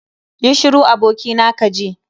Yi shiru abokina kaji.